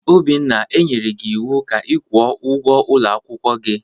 Obinna, e nyere gi ịwụ ka ị kwụọ ụgwọ ulo akwukwo gi!